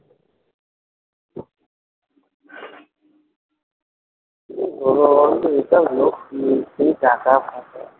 টাকা ফাঁকা,